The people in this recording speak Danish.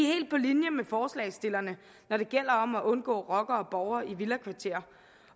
helt på linje med forslagsstillerne når det gælder om at undgå rockere og rockerborge i villakvarterer